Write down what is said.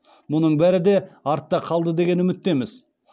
мұның бәрі де артта қалды деген үміттеміз